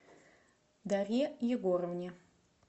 дарье егоровне